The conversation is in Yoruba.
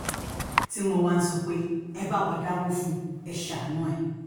tí wọ́n wá ń sọ pé ẹ bá wa dáwọ́ fún un ẹ́ ṣàánú ẹ̀